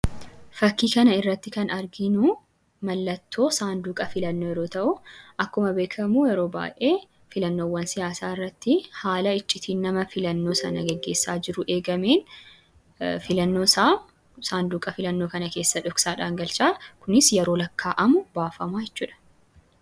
Fakkii kana irratti kan arginu mallattoo saanduqa filannoo yeroo ta'u, akkuma beekamu yeroo baay'ee filannoowwan siyaasaa irratti haala iccitiin nama filannoo sana geggeessaa jiruu eegameen filannoosaa saanduqa filannoo kana keessa dhoksaadhaan galchaa. Kunis yeroo lakkaa'amu baafama jechuu dha.